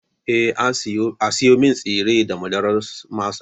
Eh, A siyo min tsire da wainar masa